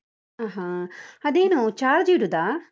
ಹಾ ಹಾ, ಅದೇನು charge ಇಡುದಾ?